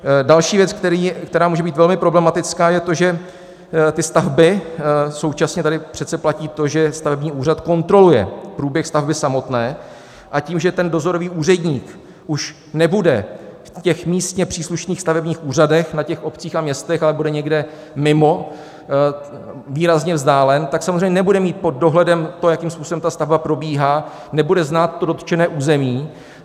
Další věc, která může být velmi problematická, je to, že ty stavby - současně tady přece platí to, že stavební úřad kontroluje průběh stavby samotné, a tím, že ten dozorový úředník už nebude v těch místně příslušných stavebních úřadech na těch obcích a městech, ale bude někde mimo, výrazně vzdálen, tak samozřejmě nebude mít pod dohledem to, jakým způsobem ta stavba probíhá, nebude znát to dotčené území.